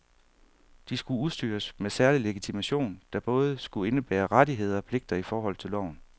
De skulle udstyres med særlig legitimation, der både skulle indebære rettigheder og pligter i forhold til loven.